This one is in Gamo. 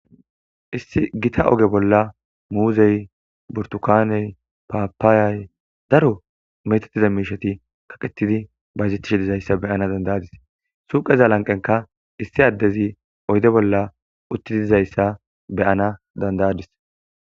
Issi gita oge bolla muuzey, burtukaney, paapaayay daro metatiza miishati kaqetidi bayezettishe dizayssa beyana dandayadis. suqeza lanqenka issi addezi oyde bolla utti dizayssa beyana dandayadis.